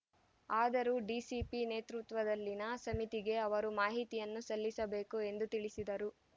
ಆದರೂ ಡಿಸಿಪಿ ನೇತೃತ್ವದಲ್ಲಿನ ಸಮಿತಿಗೆ ಅವರು ಮಾಹಿತಿಯನ್ನು ಸಲ್ಲಿಸಬೇಕು ಎಂದು ತಿಳಿಸಿದರು